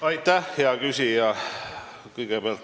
Aitäh, hea küsija!